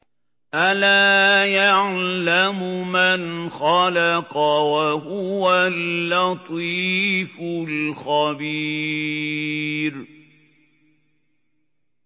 أَلَا يَعْلَمُ مَنْ خَلَقَ وَهُوَ اللَّطِيفُ الْخَبِيرُ